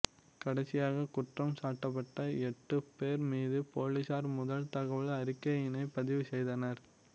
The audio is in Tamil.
கடைசியாக குற்றம் சாட்டப்பட்ட எட்டு பேர் மீது போலீசார் முதல் தகவல் அறிக்கையினை பதிவு செய்தனர்